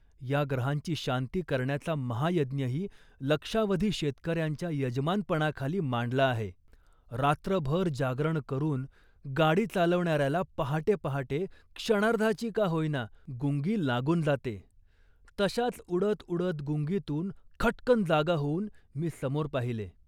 या ग्रहांची शांती करण्याचा महायज्ञही लक्षावधी शेतकऱ्यांच्या यजमानपणाखाली मांडला आहे. रात्रभर जागरण करून गाडी चालवणाऱ्याला पहाटे पहाटे, क्षणार्धाची का होईना, गुंगी लागून जाते, तशाच उडत उडत गुंगीतून खटकन जागा होऊन मी समोर पाहिले